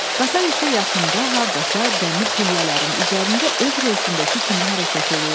Qatar isə yaxında hardasa dəmir pillələrin üzərində öz relsindəki kimi hərəkət eləyirdi.